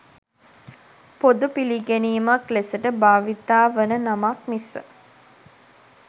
පොදු පිළිගැනීමක් ලෙසට බාවිතා වන නමක් මිස